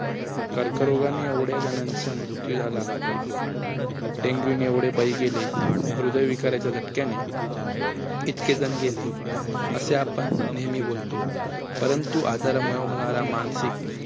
कर्करोगाने एवढ्या जणांचा मृत्यू झाला. डेंगूने एवढे बळी गेले, हृदय विकाराच्या झटक्याने इतके जण गेले, असे आपण नेहमी बोलतो, परंतु आजारामुळे होणार मानसिक